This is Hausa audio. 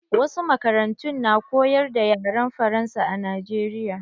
Wasu makarantun na koyar da yaren faransa a Najeriya.